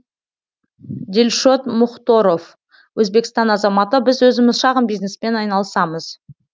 дилшот мұхторов өзбекстан азаматы біз өзіміз шағын бизнеспен айналысамыз